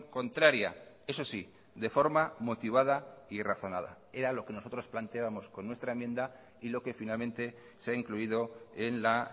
contraria eso sí de forma motivada y razonada era lo que nosotros planteábamos con nuestra enmienda y lo que finalmente se ha incluido en la